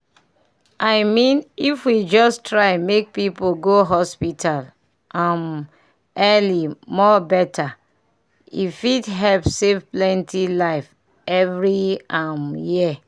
i mean if we just try make people go hospital um early more better e fit help save plenty life every um year.